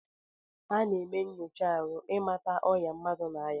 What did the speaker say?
Ana eme nyocha arụ imata ọya mmadu na aya.